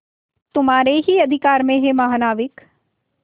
तुम्हारे ही अधिकार में है महानाविक